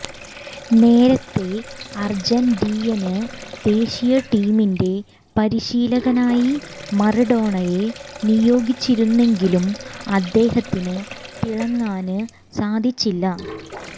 നേരത്തെ അര്ജന്റീനിയന് ദേശീയ ടീമിന്റെ പരിശീലകനായി മറഡോണയെ നിയോഗിച്ചിരുന്നെങ്കിലും അദ്ദേഹത്തിന് തിളങ്ങാന് സാധിച്ചില്ല